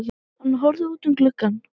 Hann horfði út um gluggann.